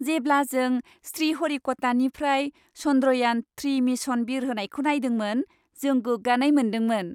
जेब्ला जों श्रीहरिक'टानिफ्राय चन्द्रयान थ्रि मिशन बिरहोनायखौ नायदोंमोन जों गोग्गानाय मोन्दोंमोन।